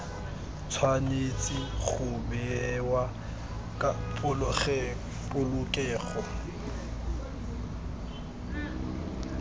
tshwanetse go bewa ka polokego